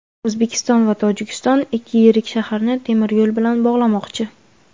O‘zbekiston va Tojikiston ikki yirik shaharni temir yo‘l bilan bog‘lamoqchi.